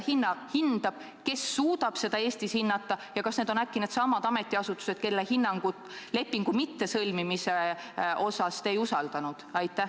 Kes seda hindab, kes suudab seda Eestis hinnata ja kas need on äkki needsamad ametiasutused, kelle soovitust lepingut mitte sõlmida te ei usaldanud?